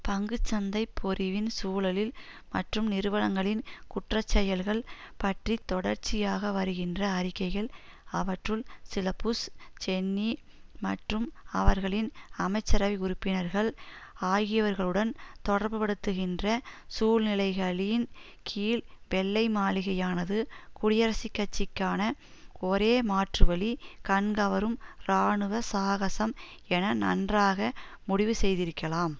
பங்குச்சந்தைப் பொறிவின் சூழலில் மற்றும் நிறுவனங்களின் குற்றச்செயல்கள் பற்றி தொடர்ச்சியாக வருகின்ற அறிக்கைகள் அவற்றுள் சில புஷ் சென்னி மற்றும் அவர்களின் அமைச்சரவை உறுப்பினர்கள் ஆகியவர்களுடன் தொடர்புபடுத்துகின்ற சூழ்நிலைகளின் கீழ் வெள்ளை மாளிகையானது குடியரசுக்கட்சிக்கான ஒரே மாற்றுவழி கண்கவரும் இராணுவ சாகசம் என நன்றாக முடிவு செய்திரிக்கலாம்